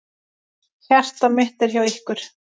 Hjarta mitt er hjá ykkur.